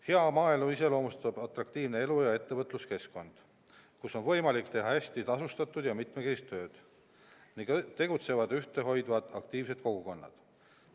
Hea maaelu iseloomustab atraktiivne elu- ja ettevõtluskeskkond, kus on võimalik teha hästi tasustatud ja mitmekesist tööd ning tegutsevad ühte hoidvad aktiivsed kogukonnad.